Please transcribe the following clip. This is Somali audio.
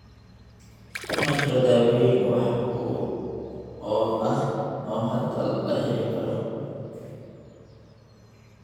Ma jiro daaweyn wax ku ool ah oo hadda la heli karo.